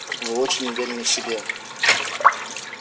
вы очень уверены в себе